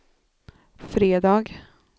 fredag